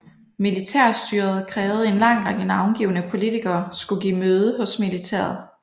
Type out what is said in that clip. Militærstyret krævede en lang række navngivne politikere skulle give møde hos militæret